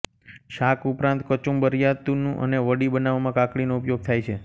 શાક ઉપરાંત કચુંબર્રાયતું અને વડી બનાવવામાં કાકડીનો ઉપયોગ થાય છે